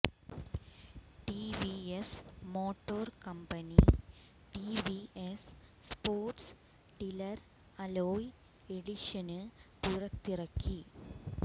TVS motor company TVS sports silver alloy edition പുറത്തിറക്കി